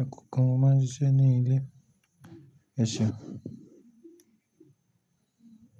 Ẹkọ̀ọ̀kan mó máa ń ṣiṣẹ́ ní ilé. Ẹṣeun.